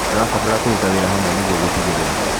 Tũrabatara kũruta wĩra hamwe nĩguo gũtigĩrĩra